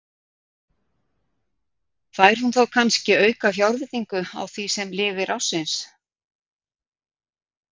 Fær hún þá kannske aukafjárveitingu á því sem lifir ársins?